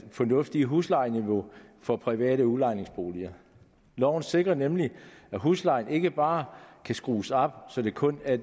fornuftigt huslejeniveau for private udlejningsboliger loven sikrer nemlig at huslejen ikke bare kan skrues op så det kun er